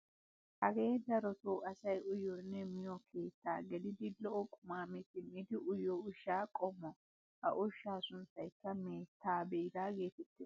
Hagee darotoo asay uyiyoonne miyoo keettaa gelidi lo"o qumaa mi simmidi uyiyoo ushshaa qommo. ha ushshaa sunttayikka meettaa biiraa geetettees.